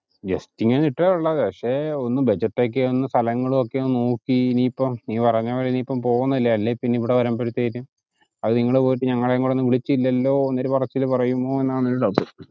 just ഇങ്ങിനെ ഇത്ര ഉള്ളു പക്ഷെ ഒന്ന് budget ഒക്കെ സ്ഥലങ്ങളും ഒക്കെ ഒന്ന് നോക്കി നീ പറഞ്ഞപോലെ ഇപ്പൊ പോകുന്നില്ലേ അല്ലെങ്കിൽ ഇവിടെ വരുമ്പോഴേക്ക് അത് നിങ്ങള് പോയിട്ട് ഞങ്ങളെ കൂടി വിളിച്ചില്ലല്ലോ എന്നൊരു പറച്ചില് പറയുമോ എന്നാണ് ഒരു doubt